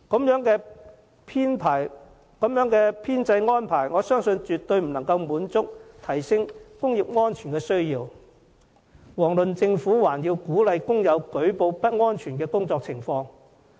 如此編制安排，我相信絕對無法滿足需要，提升工業安全，遑論鼓勵工友舉報不安全的工作情況。